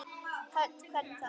Hödd: Hvernig þá?